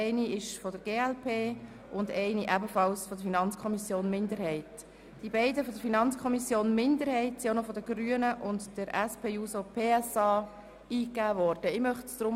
Zuerst hören wir uns für alle drei Planungserklärungen die Sprecherin der FiKo-Minderheit an.